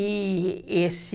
E esse